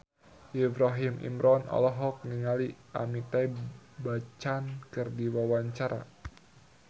Ibrahim Imran olohok ningali Amitabh Bachchan keur diwawancara